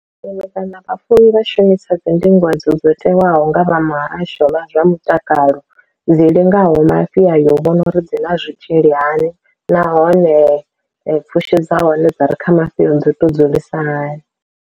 Nṋe kana vhafuwi vha shumisa dzi ndingo dzo dzo tewaho nga vha muhasho wa zwa mutakalo dzi lingaho mafhi ayo u vhona uri dzi ḽa zwitzhili hani, nahone pfhushi dza hone dzi re kha mafhio dzi to dzulisa hani.